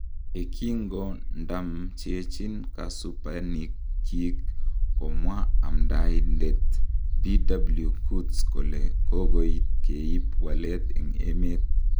ye kongndamchechin kosupanik kyik komwa amdaindet bw kurtz kole kokoit keib walet en emet